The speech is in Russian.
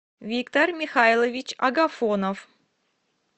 виктор михайлович агафонов